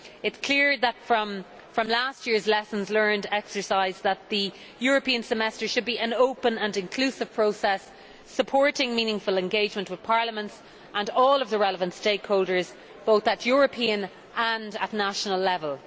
It is clear from last year's lessons learned exercise that the European Semester should be an open and inclusive process, supporting meaningful engagement with parliaments and all of the relevant stakeholders, both at European and at national level.